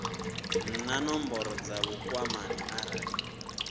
na nomboro dza vhukwamani arali